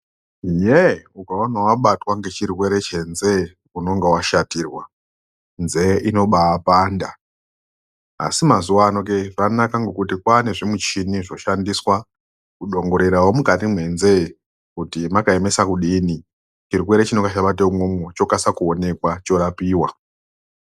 Yee ukaona wabata ngechirwere chenzee unenge washatirwa nzee inobaa panda asi mazuwa ano ke kwanaka ngekuti kwaane zvimichini zvoshandiswa kuDongorera mukati mwenzeee kuti mwakaemeaa kufini chirwere chinenga chabata umwomwo chokasire kuonekwa chorapiwa